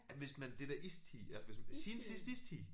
Ja men hvis man det der istid altså hvis man siden sidste istid